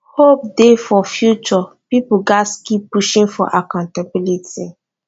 hope dey for future pipo gatz keep pushing for accountability